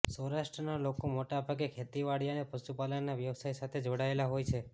સૌરાષ્ટ્રના લોકો મોટાભાગે ખેતીવાડી અને પશુપાલન ના વ્યવસાય સાથે જોડાયેલા હોઈ છે